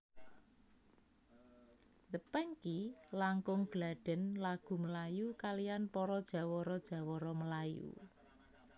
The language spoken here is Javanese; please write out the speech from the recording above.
The Pangky langkung gladhen lagu melayu kaliyan para jawara jawara melayu